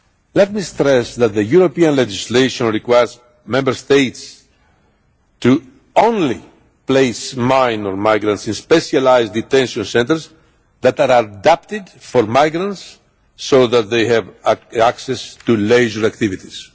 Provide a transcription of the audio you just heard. Let me stress that the European legislation requires Member States to place minor migrants only in specialised detention centres that are adapted for migrants so that they have access to leisure activities.